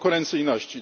konkurencyjności.